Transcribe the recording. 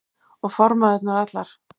Og formæðurnar allar.